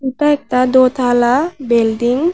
এটা একটা দোতালা বিল্ডিং ।